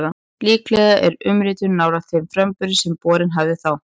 Líklega er umritunin nálægt þeim framburði sem borgin hafði þá.